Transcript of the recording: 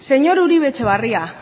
señor uribe etxebarria